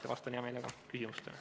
Ja vastan hea meelega küsimustele.